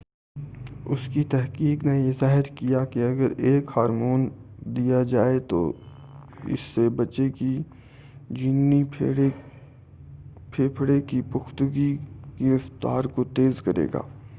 اُس کی تحقیق نے یہ ظاہر کیا کہ اگر ایک ہارمون دیا جائے تو اس سے بچّے کے جنینی پھیپھڑے کی پُختگی کی رفتار کو تیز کرے گا